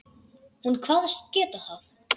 Hún kvaðst geta það.